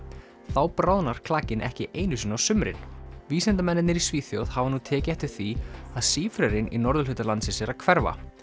þá bráðnar klakinn ekki einu sinni á sumrin vísindamennirnir í Svíþjóð hafa nú tekið eftir því að sífrerinn í norðurhluta landsins er að hverfa